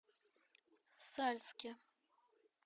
сальске